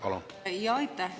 Aitäh!